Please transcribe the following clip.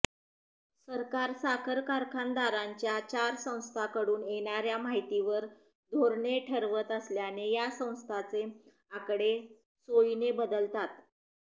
सरकार साखर कारखानदारांच्या चार संस्थांकडून येणार्या माहितीवर धोरणे ठरवत असल्याने या संस्थांचे आकडे सोयीने बदलतात